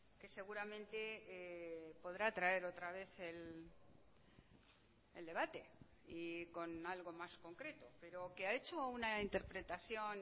que seguramente podrá traer otra vez el debate y con algo más concreto pero que ha hecho una interpretación